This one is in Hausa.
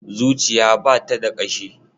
Zuciya ba ta da ƙashi.